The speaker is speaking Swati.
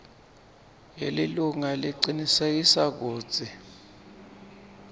yelilunga lecinisekisa kutsi